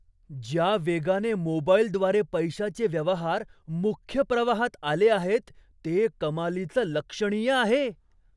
ज्या वेगाने मोबाईलद्वारे पैशाचे व्यवहार मुख्य प्रवाहात आले आहेत, ते कमालीचं लक्षणीय आहे.